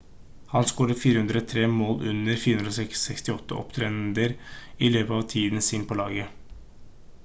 han scoret 403 mål under 468 opptredener i løpet av tiden sin på laget